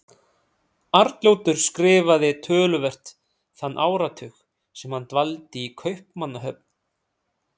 Arnljótur skrifaði töluvert þann áratug sem hann dvaldi í Kaupmannahöfn.